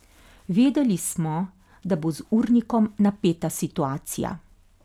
Vedeli smo, da bo z urnikom napeta situacija.